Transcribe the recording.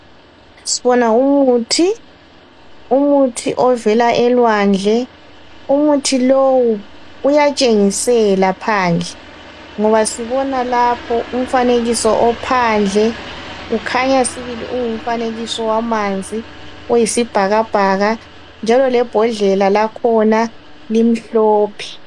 Sibona umuthi. Umuthi ovela elwandle. Umuthi lowu uyatshengisela phandle, ngoba sibona lapho umfanekiso ophandle kukhanya sibili ungumfanekiso wamanzi oyisibhakabhaka, njalo lebhodlela lakhona limhlophe.